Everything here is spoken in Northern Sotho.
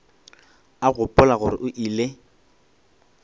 a gopola gore o ile